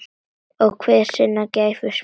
Hver er sinnar gæfu smiður